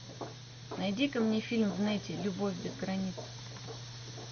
найди ка мне фильм в нете любовь без границ